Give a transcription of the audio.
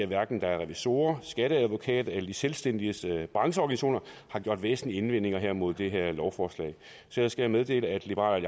hverken revisorer skatteadvokater eller de selvstændiges brancheorganisationer gjort væsentlige indvendinger imod det her lovforslag så jeg skal meddele at liberal